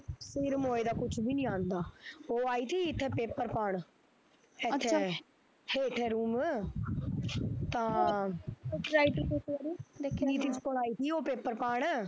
ਸਿਰ ਮੋਏ ਦਾ ਕੁਛ ਵੀ ਨੀ ਆਉਂਦਾ, ਉਹ ਆਈ ਤੀ ਇਥਾ paper ਪਾਣ ਹੇਠਾਂ room ਤਾਂ ਕੋਲ paper ਪਾਣ